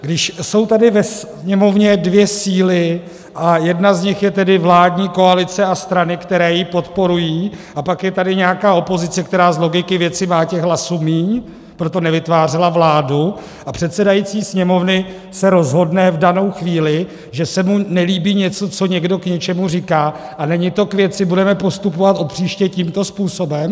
Když jsou tady ve Sněmovně dvě síly a jedna z nich je tedy vládní koalice a strany, které ji podporují, a pak je tady nějaká opozice, která z logiky věci má těch hlasů míň, proto nevytvářela vládu, a předsedající Sněmovny se rozhodne v danou chvíli, že se mu nelíbí něco, co někdo k něčemu říká a není to k věci, budeme postupovat od příště tímto způsobem?